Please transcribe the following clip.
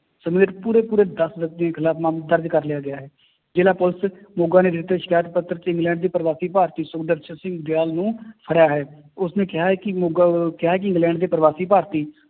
ਸਮੇਤ ਪੂਰੇ ਪੂਰੇ ਦਸ ਵਿਅਕਤੀਆਂ ਦੇ ਖਿਲਾਫ਼ ਮਾਮਲਾ ਦਰਜ਼ ਕਰ ਲਿਆ ਗਿਆ ਹੈ, ਜ਼ਿਲ੍ਹਾ ਪੁਲਿਸ ਮੋਗਾ ਨੇ ਦਿੱਤੇ ਸ਼ਿਕਾਇਤ ਪੱਤਰ ਚ ਇੰਗਲੈਂਡ ਦੇ ਪ੍ਰਵਾਸੀ ਭਾਰਤੀ ਸੁਖਦਰਸ਼ਨ ਸਿੰਘ ਗਿੱਲ ਨੂੰ ਫੜਿਆ ਹੈ, ਉਸਨੇ ਕਿਹਾ ਹੈ ਕਿ ਮੋਗਾ ਕਿਹਾ ਹੈ ਕਿ ਇੰਗਲੈਂਡ ਦੇ ਪ੍ਰਵਾਸੀ ਭਾਰਤੀ